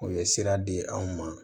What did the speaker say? U ye sira di anw ma